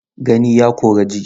Gani ya kori ji.